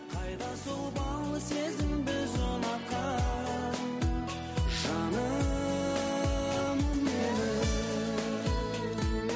қайда сол бал сезім біз ұнатқан жаным менің